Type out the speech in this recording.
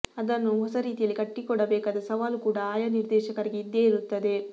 ಅದನ್ನು ಹೊಸರೀತಿಯಲ್ಲಿ ಕಟ್ಟಿಕೊಡಬೇಕಾದ ಸವಾಲು ಕೂಡ ಆಯಾ ನಿರ್ದೇಶಕರಿಗೆ ಇದ್ದೇ ಇರುತ್ತದೆ